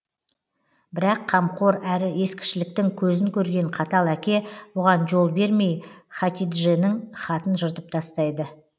бірақ қамқор әрі ескішіліктің көзін көрген қатал әке бұған жол бермей хатидженің хатын жыртып тастайды